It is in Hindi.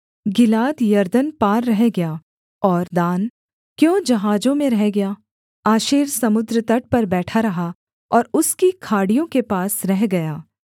गिलाद यरदन पार रह गया और दान क्यों जहाजों में रह गया आशेर समुद्र तट पर बैठा रहा और उसकी खाड़ियों के पास रह गया